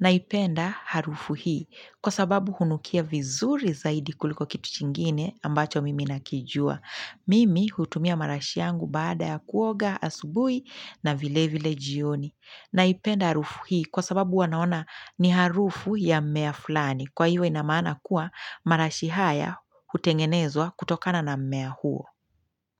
Naipenda harufu hii kwasababu hunukia vizuri zaidi kuliko kitu chingine ambacho mimi nakijua. Mimi hutumia marashi yangu baada ya kuoga asubuhi na vile vile jioni. Naipenda harufu hii kwasababu huwa naona ni harufu ya mmea fulani. Kwa hiyo inamaana kuwa marashi haya hutengenezwa kutokana na mmea huo.